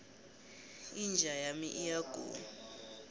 inja yami iyagula